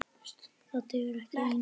Það dugar ekki ein!